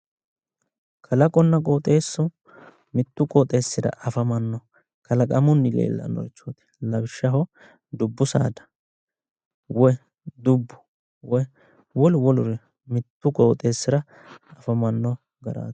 Kalaqonna qooxeessu, mittu qooxeessira afamanno kalaqamunni leellannoricho lawishshaho dubbu saada woyi dubbu, woyi wolu woluri qooxeessira afamanno garaati.